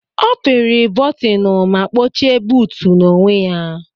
Ọ pịri bọtịnụ ma kpọchie buutu n'onwe ya.